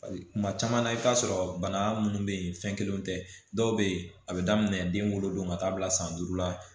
Kuma caman na i bi taa sɔrɔ bana munnu be yen fɛn kelenw tɛ dɔw be ye a be daminɛ den wolodon ka taa bila san duuru la